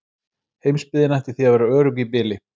Heimsbyggðin ætti því að vera örugg í bili.